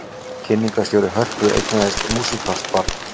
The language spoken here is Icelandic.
Kynningarstjóri Hörpu eignaðist músíkalskt barn